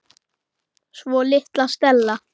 Svo litla Stella.